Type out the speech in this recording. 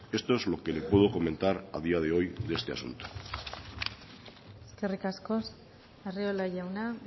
esto es lo que le puedo comentar a día de hoy de este asunto eskerrik asko arriola jauna